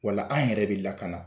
Wala an yɛrɛ de lakana.